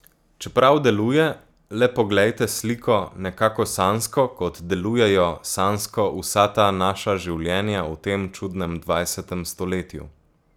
Čeprav deluje, le poglejte sliko, nekako sanjsko, kot delujejo sanjsko vsa ta naša življenja v tem čudnem dvajsetem stoletju.